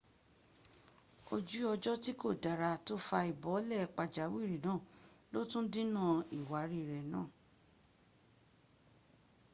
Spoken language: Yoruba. ojú ọjọ tí kò dára tó fa ìbọ́lẹ̀ pàjáwìrì náà lótú dínà ìwárí rẹ̀ náà